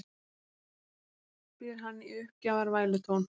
spyr hann í uppgjafar vælutón.